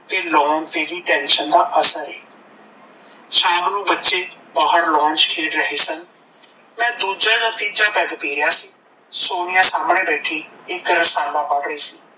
ਤੇ lawn ਦੀ tension ਦਾ ਅਸਰ ਏ ਸ਼ਾਮ ਨੂੰ ਬੱਚੇ ਬਾਹਰ lawn ਚ ਖੇਡ ਰਹੇ ਸਨ, ਮੈ ਦੂਜਾ ਜਾ ਤੀਜਾ peg ਰੀਆ ਸੀ, ਸੋਨੀਆ ਸਾਮਣੇ ਬੈਠੀ ਇੱਕ ਰਸਾਲਾ ਵੱਢ ਰਹੀ ਸੀ।